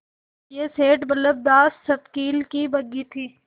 यह सेठ बल्लभदास सवकील की बग्घी थी